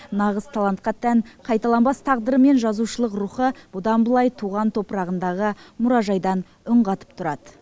нағыз талантқа тән қайталанбас тағдыры мен жазушылық рухы бұдан былай туған топырағындағы мұражайдан үн қатып тұрады